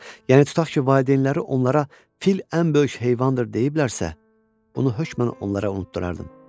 Yəni tutaq ki, valideynləri onlara "Fil ən böyük heyvandır" deyiblərsə, bunu hökmən onlara unutdurardım.